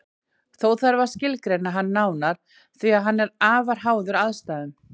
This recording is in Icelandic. Þó þarf þá að skilgreina hann nánar því að hann er afar háður aðstæðum.